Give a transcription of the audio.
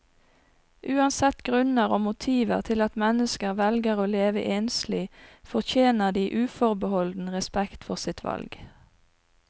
Uansett grunner og motiver til at mennesker velger å leve enslig, fortjener de uforbeholden respekt for sitt valg.